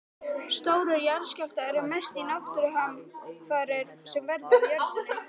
Stórir jarðskjálftar eru mestu náttúruhamfarir sem verða á jörðinni.